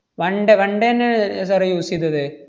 one day one day ന്നെ ഏർ sir ഏ use ചെയ്തത്.